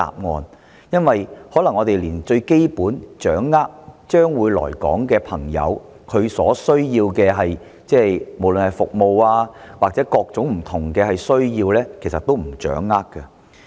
我們卻可能連最基本的資訊，即將會來港的人士所需要的——不論是服務或各種不同需要——也未能掌握得到。